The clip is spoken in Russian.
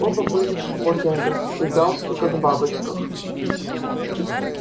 оба были в смокингах и галстуках-бабочках